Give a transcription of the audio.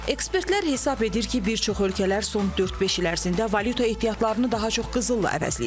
Ekspertlər hesab edir ki, bir çox ölkələr son dörd-beş il ərzində valyuta ehtiyatlarını daha çox qızılla əvəzləyir.